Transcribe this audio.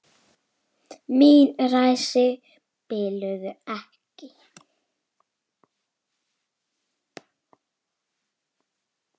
Mín ræsi biluðu ekki.